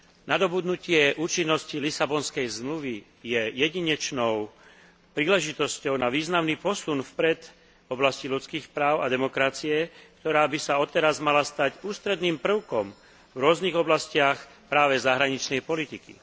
Nadobudnutie účinnosti Lisabonskej zmluvy je jedinečnou príležitosťou na významný posun vpred v oblasti ľudských práv a demokracie, ktorá by sa odteraz mala stať ústredným prvkom v rôznych oblastiach práve zahraničnej politiky.